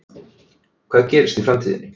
Hvað gerist í framtíðinni?